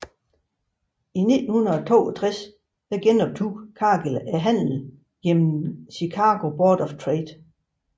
I 1962 genoptog Cargill handlen gennem Chicago Board of Trade